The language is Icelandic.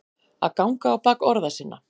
Að ganga á bak orða sinna